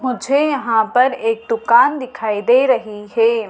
मुझे यहाँ पर एक दुकान दिखाई दे रही है।